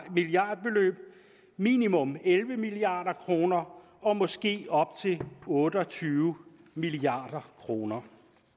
milliardbeløb minimum elleve milliard kroner og måske op til otte og tyve milliard kroner